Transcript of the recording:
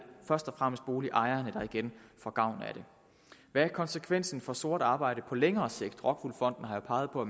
først og fremmest boligejerne der igen får gavn af det hvad er konsekvensen for sort arbejde på længere sigt rockwool fonden har jo peget på